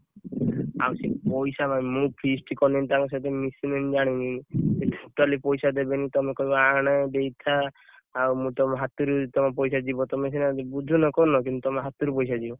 ଆଉ ସେ ପଇସା ପାଇଁ ମୁଁ feast କଲେଣି ତାଙ୍କ ସହିତ ମିଶିଲେଣି ମୁଁ ଜାଣିନି ସେ totally ପଇସା ଦେବେନି, ତମେ କହିବ, ଆଣେ ଦେଇଥା ଆଉ ମୁଁ ତମ ହାତରୁ ତମ ପଇସା ଯିବ, ତମେ ସେଟା ବୁଝୁନ, କରୁନ, କିନ୍ତୁ ତମ ହାତରୁ ପଇସା ଯିବ।